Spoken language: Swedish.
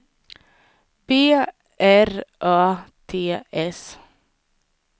B R Ö T S